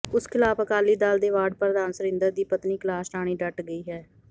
ਉਸ ਖ਼ਿਲਾਫ਼ ਅਕਾਲੀ ਦਲ ਦੇ ਵਾਰਡ ਪ੍ਰਧਾਨ ਸੁਰਿੰਦਰ ਦੀ ਪਤਨੀ ਕੈਲਾਸ਼ ਰਾਣੀ ਡਟ ਗਈ ਹੈ